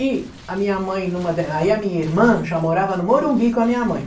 E a minha mãe numa de a minha irmã já morava no Morumbi com a minha mãe.